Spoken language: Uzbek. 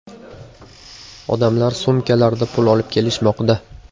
Odamlar sumkalarda pul olib kelishmoqda.